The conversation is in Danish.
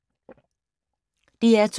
DR2